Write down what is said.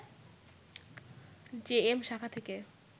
JM শাখা থেকে